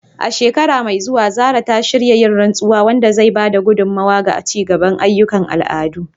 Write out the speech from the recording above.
A shekara mai zuwa, Zarah ta shirya yin rantsuwa, wanda zai ba da gudummawa ga ci gaba da ayyukan al'adu.